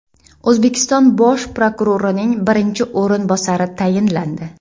O‘zbekiston bosh prokurorining birinchi o‘rinbosari tayinlandi.